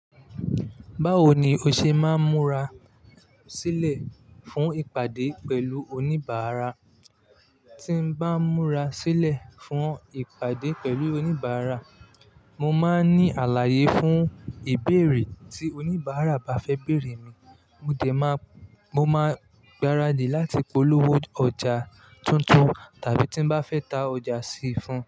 Báwo ni o ṣe máa ń múra sílẹ̀ fún ìpàdé pẹ̀lú oníbàárà? Tí n bá ń múra sílẹ̀ fún ìpàdé pẹ̀lú oníbàárà, mo máa ń ní àlàyé fún ìbéèrè tí oníbàárà bá fẹ́ bèèrè mi. Mo máa ń gbáradì láti polówó ọjà tuntun tàbí tí n bá fẹ́ ta ọjà sí i fún un.